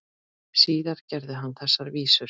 Síðar gerði hann þessar vísur: